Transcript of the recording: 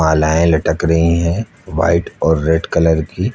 मालाएं लटक रही हैं व्हाइट और रेड कलर की।